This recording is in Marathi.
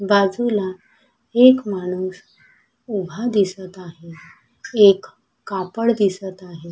बाजूला एक माणूस उभा दिसत आहे एक कापड दिसत आहे.